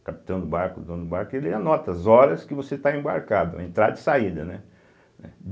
capitão do barco, o dono do barco, ele anota as horas que você está embarcado, a entrada e saída, né? né